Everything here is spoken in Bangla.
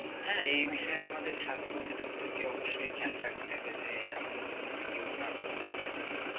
হ্যাঁ এই বিষয়ে আমাদের স্বাস্থ্য দপ্তরকে অবশ্যই খেয়াল রাখতে হবে যে এমন দুর্নীতি কেউ না করতে পারে আর কি